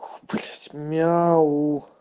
ох блять мяу